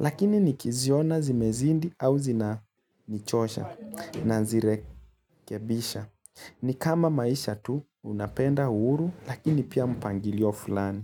Lakini nikiziona zimezindi au zinanichosha na zirekebisha. Ni kama maisha tu, unapenda uhuru, lakini pia mpangilio fulani.